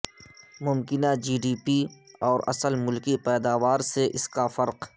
ممکنہ G D P اور اصل ملکی پیداوار سے اس کا فرق